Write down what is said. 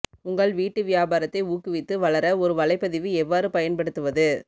உங்கள் வீட்டு வியாபாரத்தை ஊக்குவித்து வளர ஒரு வலைப்பதிவு எவ்வாறு பயன்படுத்துவது